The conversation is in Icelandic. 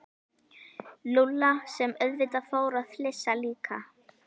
Lúlla sem auðvitað fór að flissa líka.